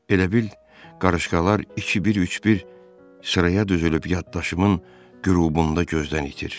Elə bil qarışqalar iki bir, üç bir sıraya düzülüb yaddaşımın qürubunda gözdən itir.